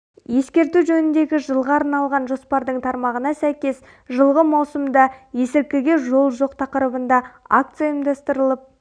ескерту жөніндегі жылға арналған жоспардың тармағына сәйкес жылғы маусымда есіркіге жол жоқ тақырыбында акция ұйымдастырылып